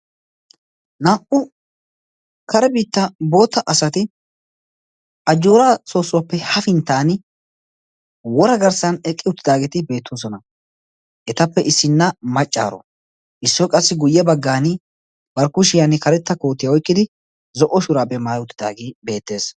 naa'u kare biittaa bootta asati ajooraa soossuwaappe hafintan wora garssan eqqi uttidaageeti beetoososna, etappe issina macaara, issoy qassi guye bagaani kushiyan karetta kootiya oyqqidi zo'o shuraabiya maayi uttidaagee beetees,